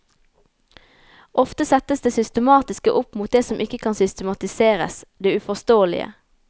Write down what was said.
Ofte settes det systematiske opp mot det som ikke kan systematiseres, det uforståelige.